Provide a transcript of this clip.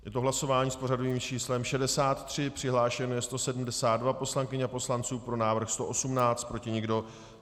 Je to hlasování s pořadovým číslem 63, přihlášeno je 172 poslankyň a poslanců, pro návrh 118, proti nikdo.